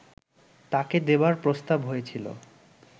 তাঁকে দেবার প্রস্তাব হয়েছিল